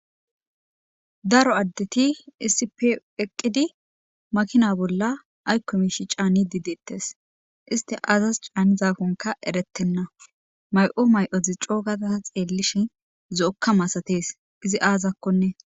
Daro addeti issippe eqqidi makina bolla aykko miishshi caanidi de'etees; isti aazas caanizakonka eretena; may'o may'ozi coo gada xeelishin zo'oka masatees izi aazakonne.